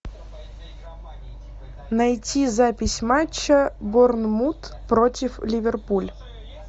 найти запись матча борнмут против ливерпуль